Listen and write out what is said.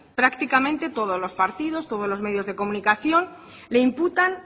prácticamente todos los partidos todos los medios de comunicación le imputan